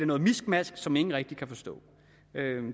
noget miskmask som ingen rigtig kan forstå